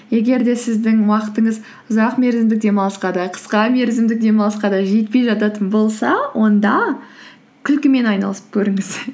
егер де сіздің уақытыңыз ұзақ мерзімдік демалысқа да қысқа мерзімдік демалысқа да жетпей жататын болса онда күлкімен айналысып көріңіз